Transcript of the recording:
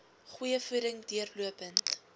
goeie voeding deurlopend